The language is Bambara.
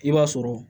I b'a sɔrɔ